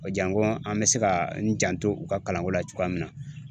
Janko an bɛ se ka n janto u ka kalanko la cogoya min na